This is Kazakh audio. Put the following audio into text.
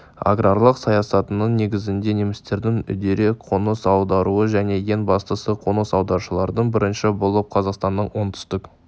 аграрлық саясаттың негізінде немістердің үдере қоныс аударуы және ең бастысы қоныс аударушылардың бірінші болып қазақстанның оңтүстік